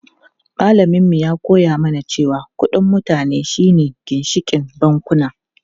Malamin mu ya koya mana cewa kudin mutane shi ne ginshikin bankuna.